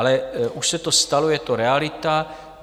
Ale už se to stalo, je to realita.